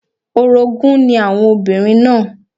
Orogún ni àwọn obìnrin náà